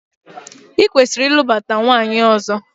Ị kwesịrị ịlụbata nwaanyị ọzọ!